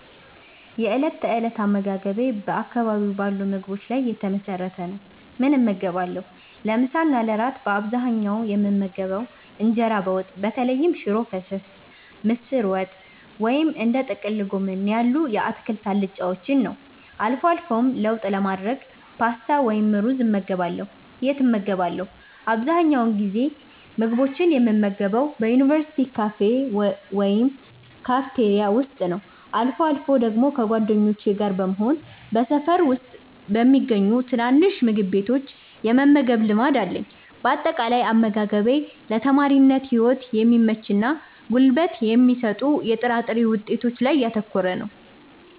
የእለት ተእለት አመጋገቤ የእለት ተእለት አመጋገቤ በአካባቢው ባሉ ምግቦች ላይ የተመሰረተ ነው፦ ምን እመገባለሁ? ለምሳ እና ለእራት በአብዛኛው የምመገበው እንጀራ በወጥ (በተለይም ሽሮ ፈሰስ፣ ምስር ወጥ ወይም እንደ ጥቅል ጎመን ያሉ የአትክልት አልጫዎችን) ነው። አልፎ አልፎም ለውጥ ለማድረግ ፓስታ ወይም ሩዝ እመገባለሁ። የት እመገባለሁ? አብዛኛውን ጊዜ ምግቦችን የምመገበው በዩኒቨርሲቲ ካፌ ወይም ካፍቴሪያ ውስጥ ነው። አልፎ አልፎ ደግሞ ከጓደኞቼ ጋር በመሆን በሰፈር ውስጥ በሚገኙ ትናንሽ ምግብ ቤቶች የመመገብ ልማድ አለኝ። ባጠቃላይ፦ አመጋገቤ ለተማሪነት ህይወት በሚመችና ጉልበት በሚሰጡ የጥራጥሬ ውጤቶች ላይ ያተኮረ ነው።